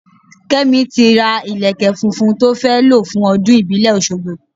Kẹ́mi ti ra ìlékè funfun tó fẹ́ lo fún ọdún ìbílẹ̀ Oṣogbo.